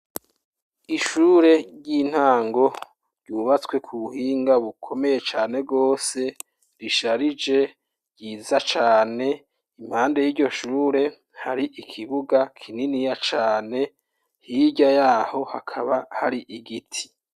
Ishure ry'intango, ryubatswe ku buhinga bukomeye cane rwose, risharije, ryiza cane; impande y'iryo shure, hari ikibuga, kininiya cane, hirya y'aho, hakaba hari igiti.